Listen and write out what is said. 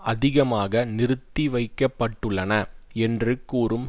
அதிகமாக நிறுத்தி வைக்க பட்டுள்ளன என்று கூறும்